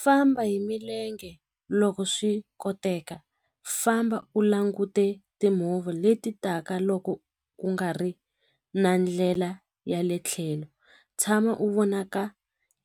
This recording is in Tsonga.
Famba hi milenge loko swi koteka famba u langute timovha leti taka loko ku nga ri na ndlela ya le tlhelo tshama u vonaka